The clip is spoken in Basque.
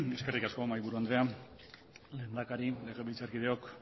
eskerrik asko mahaiburu andrea lehendakari legebiltzarkideok